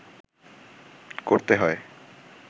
করতে হয়